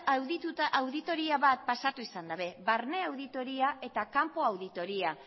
auditoria bat pasatu izan dabe barne auditoria eta kanpo auditoria